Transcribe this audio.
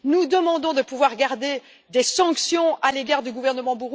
Nous demandons de pouvoir maintenir des sanctions à l'égard de ce gouvernement.